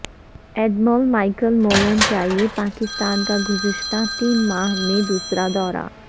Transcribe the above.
admiral Michael Mullen کا یہ پاکستان کا گزشتہ تین ماہ میں دوسرا دورہ ہے